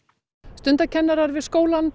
stundakennarar við skólann